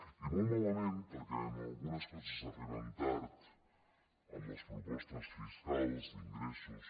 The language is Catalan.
i molt malament perquè en algunes coses arriben tard amb les propostes fiscals d’ingressos